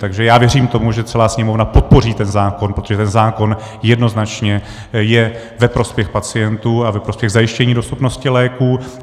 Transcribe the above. Takže já věřím tomu, že celá Sněmovna podpoří ten zákon, protože ten zákon jednoznačně je ve prospěch pacientů a ve prospěch zajištění dostupnosti léků.